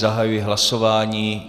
Zahajuji hlasování.